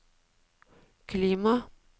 klima